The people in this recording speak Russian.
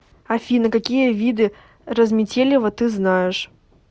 афина какие виды разметелево ты знаешь